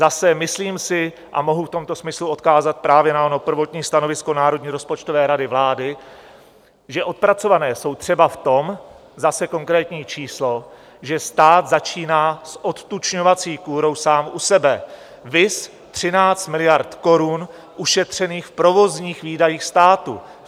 Zase, myslím si, a mohu v tomto smyslu odkázat právě na ono prvotní stanovisko Národní rozpočtové rady vlády, že odpracované jsou třeba v tom, zase konkrétní číslo, že stát začíná s odtučňovací kůrou sám u sebe, viz 13 miliard korun ušetřených v provozních výdajích státu.